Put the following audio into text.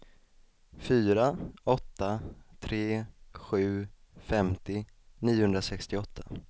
fyra åtta tre sju femtio niohundrasextioåtta